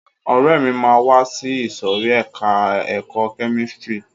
Ọ̀rẹ́ mi máa wá sí ìsòrí ẹka ẹ̀kọ́ kẹ́místrì.